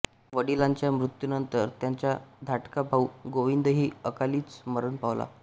वडिलांच्या मृत्यूनंतर त्यांचा धाकटा भाऊ गोविंदही अकालीच मरण पावला